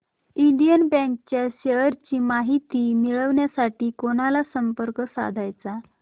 Indian bank च्या shares ची माहिती मिळविण्यासाठी कोणाला संपर्क साधायचा